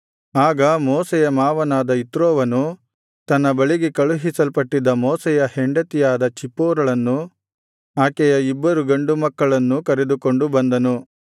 ಆಗ ಮೋಶೆಯ ಮಾವನಾದ ಇತ್ರೋವನು ತನ್ನ ಬಳಿಗೆ ಕಳುಹಿಸಲ್ಪಟ್ಟಿದ್ದ ಮೋಶೆಯ ಹೆಂಡತಿಯಾದ ಚಿಪ್ಪೋರಳನ್ನೂ ಆಕೆಯ ಇಬ್ಬರು ಗಂಡು ಮಕ್ಕಳನ್ನೂ ಕರೆದುಕೊಂಡು ಬಂದನು